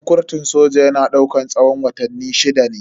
Horan kurtun soja yana daukan tsawon watanni shida ne.